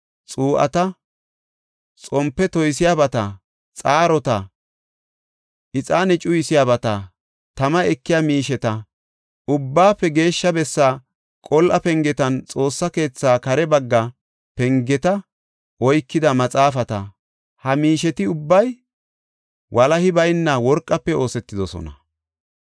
xuu7ata, xompe toysiyabata, xaarota, ixaane cuyisiyabata, tama ekiya miisheta, Ubbaafe Geeshsha Bessaa qol7a pengetanne Xoossa keetha kare bagga pengeta oykida maxaafeta. Ha miisheti ubbay walahi bayna worqafe oosetidosona.